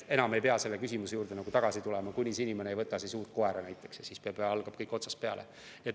Enam ei pea selle küsimuse juurde tagasi tulema, kui see inimene just ei võta uut koera ja siis algab kõik otsast peale.